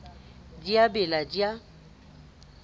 di a bela di a